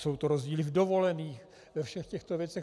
Jsou to rozdíly v dovolených, ve všech těchto věcech.